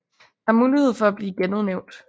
Der er mulighed for at blive genudnævnt